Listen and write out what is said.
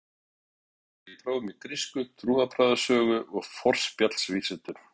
Um vorið lauk ég prófum í grísku, trúarbragðasögu og forspjallsvísindum.